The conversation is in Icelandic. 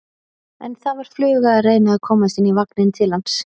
En það var fluga að reyna að komast inn í vagninn til hans.